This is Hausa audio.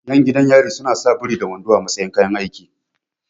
Ƴan gidan yari suna sa biri da wando a matsayin kayan aiki